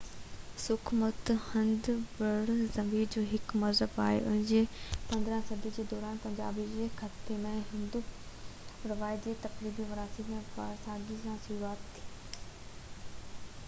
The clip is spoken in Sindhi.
سِک مت هند برصغير جو هڪ مذهب آهي ان جي 15 صدي جي دوران پنجاب جي خطي ۾ هندو روايت جي فرقي وارڻي ورهاڳي سان شروعات ٿي